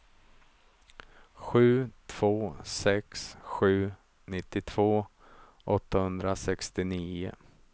sju två sex sju nittiotvå åttahundrasextionio